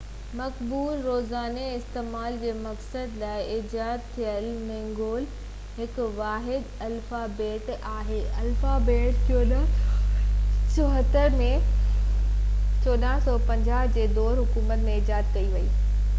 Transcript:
مقبول روزاني استعمال جي مقصد لاءِ ايجاد ٿيل هينگيول هڪ واحد الفابيٽ آهي. الفابيٽ 1444 ۾ ڪنگ سيجونگ 1418 – 1450 جي دور حڪومت ۾ ايجاد ڪئي وئي